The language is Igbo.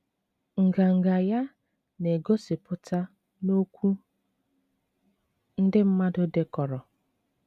Nganga ya na-egosipụta n'okwu ndị mmadụ dekọrọ.